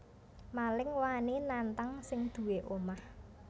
Maling wani nantang sing duwé omah